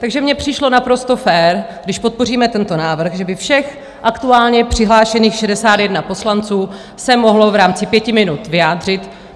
Takže mi přišlo naprosto fér, když podpoříme tento návrh, že by všech aktuálně přihlášených 61 poslanců se mohlo v rámci pěti minut vyjádřit.